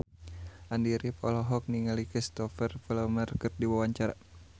Andy rif olohok ningali Cristhoper Plumer keur diwawancara